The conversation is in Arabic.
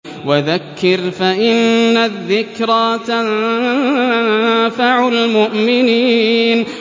وَذَكِّرْ فَإِنَّ الذِّكْرَىٰ تَنفَعُ الْمُؤْمِنِينَ